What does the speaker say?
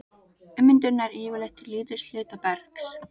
Ummyndun nær yfirleitt til lítils hluta bergs.